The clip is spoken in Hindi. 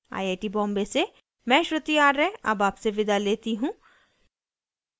यह स्क्रिप्ट प्रभाकर द्वारा अनुवादित है आई आई टी बॉम्बे से मैं श्रुति आर्य अब आपसे विदा लेती हूँ